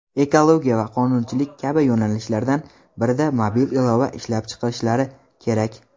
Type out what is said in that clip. ekologiya va qonunchilik kabi yo‘nalishlardan birida mobil ilova ishlab chiqishlari kerak.